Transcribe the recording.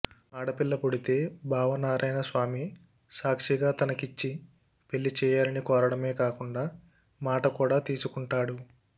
ఆడపిల్ల పుడితే భావనారాయణస్వామి సాక్షిగా తనకిచ్చి పెళ్ళిచేయాలని కోరడమే కాకుండా మాట కూడా తీసుకుంటాడు